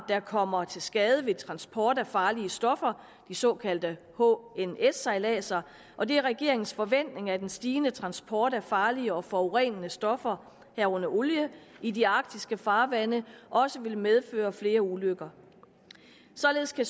der kommer til skade ved transport af farlige stoffer de såkaldte hns sejladser og det er regeringens forventning at den stigende transport af farlige og forurenende stoffer herunder olie i de arktiske farvande også vil medføre flere ulykker således kan